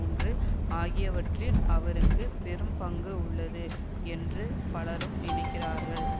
ஒன்று ஆகியவற்றில் அவருக்கு பெரும் பங்கு உள்ளது என்று பலரும் நினைக்கிறார்கள்